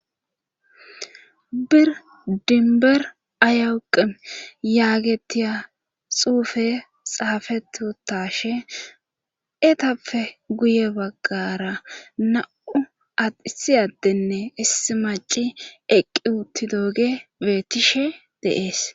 Bir dinber ayawuqi yaagetiya xuufe xaafettashe etappe guye baggara na7u adhisiyaddenne issi maci eqqi uutti dooge beettishe deees.